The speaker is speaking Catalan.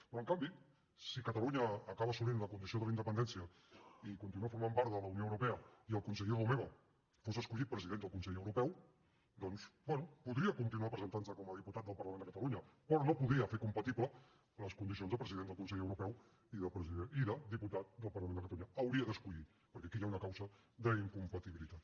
però en canvi si catalunya acaba assolint la condició de la independència i continua formant part de la unió europea i el conseller romeva fos escollit president del consell europeu doncs bé podria continuar presentant se com a diputat del parlament de catalunya però no podria fer compatibles les condicions de president del consell europeu i de diputat del parlament de catalunya hauria d’escollir perquè aquí hi ha una causa d’incompatibilitat